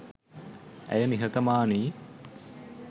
ඇය නිහතමානියි